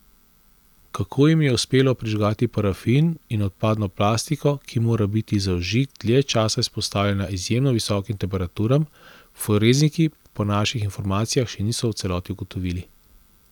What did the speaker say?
Kako jim je uspelo prižgati parafin in odpadno plastiko, ki mora biti za vžig dlje časa izpostavljena izjemno visokim temperaturam, forenziki po naših informacijah še niso v celoti ugotovili.